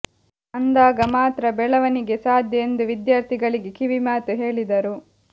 ಅಂದಾಗ ಮಾತ್ರ ಬೆಳವಣಿಗೆ ಸಾಧ್ಯ ಎಂದು ವಿದ್ಯಾರ್ಥಿ ಗಳಿಗೆ ಕಿವಿಮಾತು ಹೇಳಿದರು